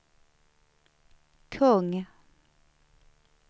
kung